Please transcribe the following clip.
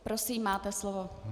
Prosím, máte slovo.